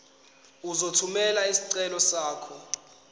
uzothumela isicelo sakho